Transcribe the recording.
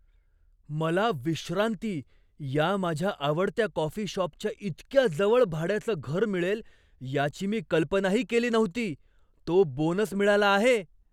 मला 'विश्रांती' या माझ्या आवडत्या कॉफी शॉपच्या इतक्या जवळ भाड्याचं घर मिळेल याची मी कल्पनाही केली नव्हती. तो बोनस मिळाला आहे!